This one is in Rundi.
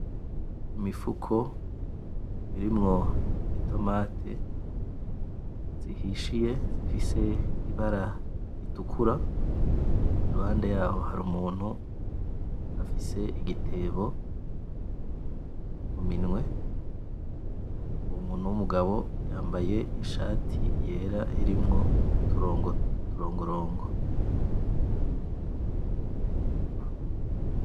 Imifuko irimwo itomate zihishiye zifise ibara ritukura iruhande yaho hari umuntu afise igitebo muminwe uwo muntu w'umugabo yambaye ishati yera irimwo uturongorongo.